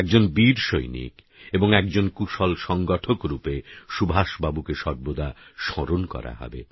একজন বীরসৈনিক এবং একজন কুশল সংগঠক রূপে সুভাষবাবুকে সর্বদা স্মরণ করা হবে